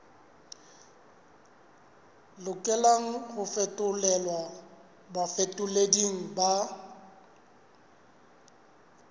lokelang ho fetolelwa bafetoleding ba